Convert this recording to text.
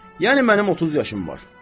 Yəni mənim 30 yaşım var.